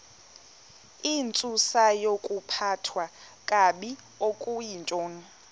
intsusayokuphathwa kakabi okuyintoni